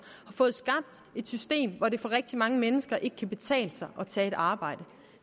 har fået skabt et system hvor det for rigtig mange mennesker ikke kan betale sig at tage et arbejde